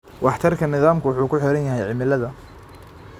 Waxtarka nidaamku wuxuu ku xiran yahay cimilada.